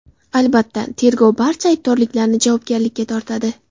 Albatta, tergov barcha aybdorlarni javobgarlikka tortadi.